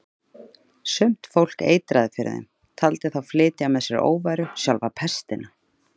Sumt fólk eitraði fyrir þeim, taldi þá flytja með sér óværu, sjálfa pestina.